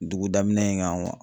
Dugu daminɛ in gan kuwa